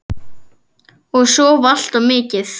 Og sofa allt of mikið.